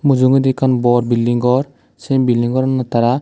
mujungedi ekkan bor bilding gor sei bilding goranot tara.